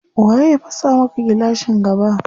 Waye ya fasa maka gilashin gaba?